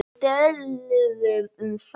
Við töluðum um það.